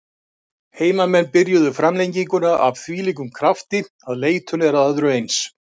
Heimamenn byrjuðu framlenginguna af þvílíkum krafti að leitun er að öðru eins.